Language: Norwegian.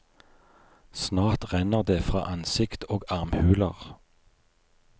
Snart renner det fra ansikt og armhuler.